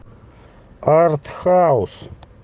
артхаус